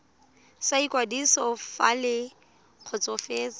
sa ikwadiso fa le kgotsofetse